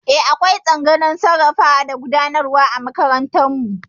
Eh, akwai tsangayar sarrafawa da gudanarwa a makarantar mu